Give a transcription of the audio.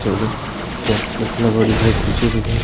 उधर बॉक्स भी लगा दिख र पीछे की साइड।